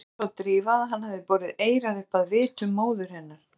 Svo sá Drífa að hann hafði borið eyrað upp að vitum móður hennar.